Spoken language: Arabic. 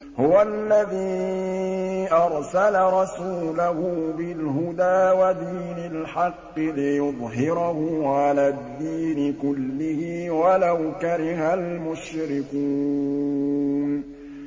هُوَ الَّذِي أَرْسَلَ رَسُولَهُ بِالْهُدَىٰ وَدِينِ الْحَقِّ لِيُظْهِرَهُ عَلَى الدِّينِ كُلِّهِ وَلَوْ كَرِهَ الْمُشْرِكُونَ